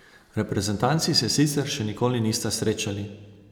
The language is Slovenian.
Reprezentanci se sicer še nikoli nista srečali.